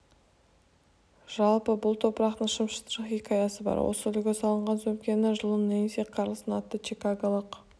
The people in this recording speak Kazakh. жалпы бұл топырақтың шым-шытырық хикаясы бар осы үлгі салынған сөмкені жылы нэнси карлсон атты чикаголық